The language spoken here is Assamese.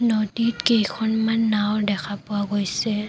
নদীত কেইখনমান নাওঁ দেখা পোৱা গৈছে।